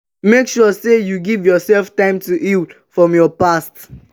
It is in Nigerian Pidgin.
make sure say you give yourself time to heal from your past